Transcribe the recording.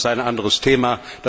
Das ist ein anderes Thema.